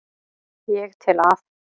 Ég tel að